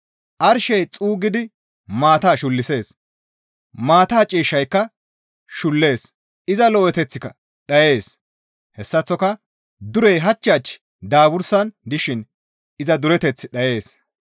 Arshey xuuggidi maata shullisees; maata ciishshayka shullees; iza lo7eteththika dhayees; hessaththoka durey hach hach daabursan dishin iza dureteththi dhayees.